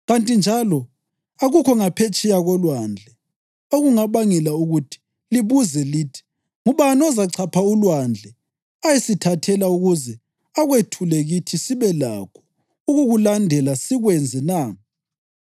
Kanti njalo akukho ngaphetsheya kolwandle, okungabangela ukuthi libuze lithi, ‘Ngubani ozachapha ulwandle ayesithathela ukuze akwethule kithi sibe lakho ukukulandela sikwenze na?’